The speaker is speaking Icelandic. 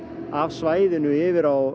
af svæðinu yfir á